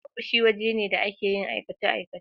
Ofishi waje ne da ake yin aikace-aikace.